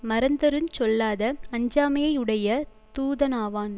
மறந்துஞ் சொல்லாத அஞ்சாமையையுடைய தூதனாவான்